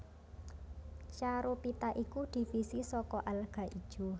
Charophyta iku divisi saka alga ijo